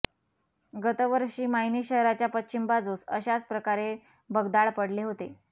गतवर्षी मायणी शहराच्या पश्चिम बाजूस अशाच प्रकारे भगदाड पडले होते